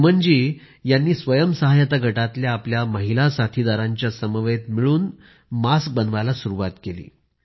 सुमनजी यांनी स्वयंसहाय्यता गटातल्या आपल्या महिला साथीदारांच्या समवेत मिळून मास्क बनवण्यास सुरूवात केली